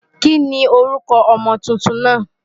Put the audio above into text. Kí ni orúkọ ọmọ tuntun náà?